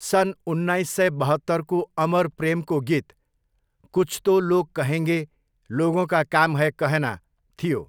सन् उन्नाइस सय बहत्तरको अमर प्रेमको गीत 'कुछ तो लोग कहेंगे लोगोंका काम है कहना' थियो।